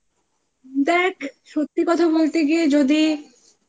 দেখ! সত্যি কথা বলতে গিয়ে যদি